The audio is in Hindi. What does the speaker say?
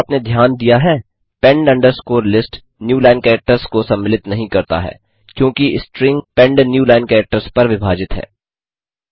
क्या आपने ध्यान दिया है pend underscore list newline characters को सम्मिलित नहीं करता है क्योंकि string pend new line characters पर विभाजित है